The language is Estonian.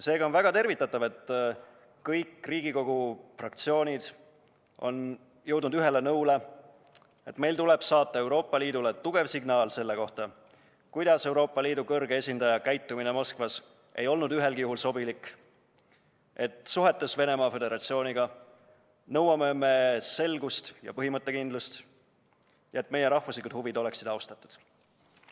Seega on väga tervitatav, et kõik Riigikogu fraktsioonid on jõudnud ühele nõule, et meil tuleb saata Euroopa Liidule tugev signaal selle kohta, et Euroopa Liidu kõrge esindaja käitumine Moskvas ei olnud ühelgi juhul sobilik ning et suhetes Venemaa Föderatsiooniga nõuame me selgust, põhimõttekindlust ja meie rahvuslike huvide austamist.